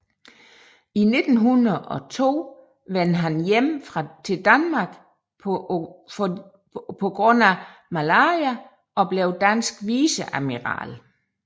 I 1902 vendte han hjem til Danmark på grund af malaria og blev dansk viceadmiral